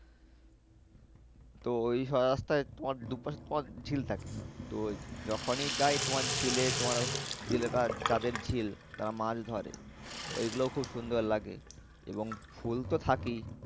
তো ওই সোজা রাস্তায় তোমার দু পাশে তোমার ঝিল থাকে। তো যখনই যাই তোমার ঝিলে তোমার জেলেরা যাদের ঝিল তারা মাছ ধরে ওই গুলোও খুব সুন্দর লাগে এবং ফুল তো থাকেই।